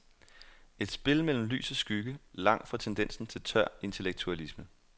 Et spil mellem lys og skygge, langt fra tendensen til tør intellektualisme.